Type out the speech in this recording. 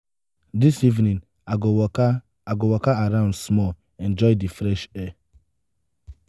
dis evening i go waka i go waka around small enjoy di fresh air.